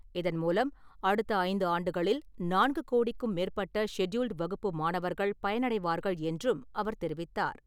இதன் மூலம் அடுத்த ஐந்து ஆண்டுகளில் நான்கு கோடிக்கும் மேற்பட்ட ஷெட்யூல்டு வகுப்பு மாணவர்கள் பயனடைவார்கள் என்றும் அவர் தெரிவித்தார்.